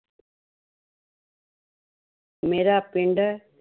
ਮੇਰਾ ਪਿੰਡ